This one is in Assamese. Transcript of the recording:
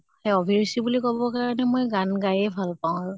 সেয়া আভিৰুচি বুলি কʼব কাৰণে মই গান গায়ে ভাল পাওঁ আৰু ।